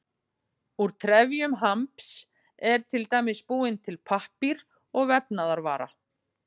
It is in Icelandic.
Úr trefjum hamps er til dæmis búinn til pappír og vefnaðarvara.